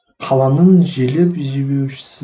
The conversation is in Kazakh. қаланың желеп жебеушісі